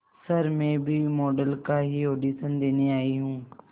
sir मैं भी model का ही ऑडिशन देने आई हूं